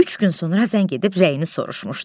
Üç gün sonra zəng edib rəyini soruşmuşdu.